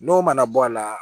N'o mana bɔ a la